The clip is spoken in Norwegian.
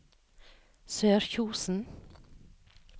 Sørkjosen